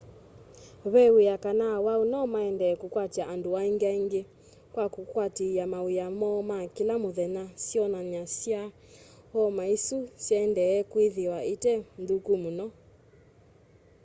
ve wia kana awau nomaendee kũkwatya andũ angĩ aingĩ kwa kũkwatĩĩa mawĩa moo ma kĩla mũthenya syonany'a sya homa ĩsu syaendeea kwĩthĩwa ite nthũku mũno